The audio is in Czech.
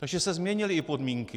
Takže se změnily i podmínky.